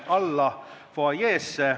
Istungi lõpp kell 14.33.